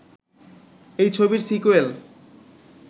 এই ছবির সিকোয়েল